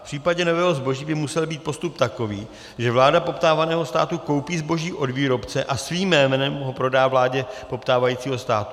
V případě nového zboží by musel být postup takový, že vláda poptávaného státu koupí zboží od výrobce a svým jménem ho prodá vládě poptávajícího státu.